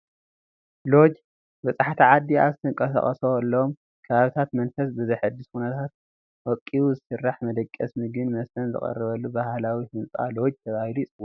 ሎጅ- በፃሕቲ ዓዲ ኣብ ዝንቀሳቐሱሎም ከባብታት መንፈስ ብዘሕድስ ኩነታት ወቂቡ ዝስራሕ መደቐሲ፣ ምግብን መስተን ዝቐርበሉ ባህላዊ ህንፃ ሎጅ ተባሂሉ ይፅዋዕ፡፡